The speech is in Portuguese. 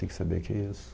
Tem que saber que é isso.